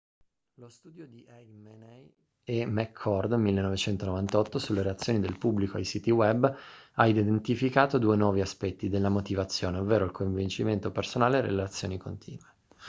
lo studio di eighmey e mccord 1998 sulle reazioni del pubblico ai siti web ha identificato due nuovi aspetti della motivazione ovvero il coinvolgimento personale e le relazioni continue